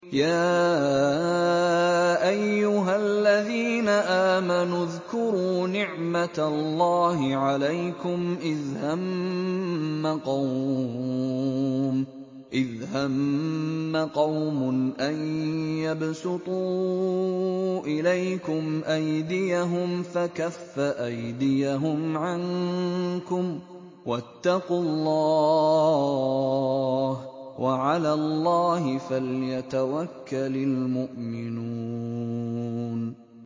يَا أَيُّهَا الَّذِينَ آمَنُوا اذْكُرُوا نِعْمَتَ اللَّهِ عَلَيْكُمْ إِذْ هَمَّ قَوْمٌ أَن يَبْسُطُوا إِلَيْكُمْ أَيْدِيَهُمْ فَكَفَّ أَيْدِيَهُمْ عَنكُمْ ۖ وَاتَّقُوا اللَّهَ ۚ وَعَلَى اللَّهِ فَلْيَتَوَكَّلِ الْمُؤْمِنُونَ